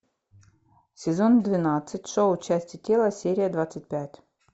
сезон двенадцать шоу части тела серия двадцать пять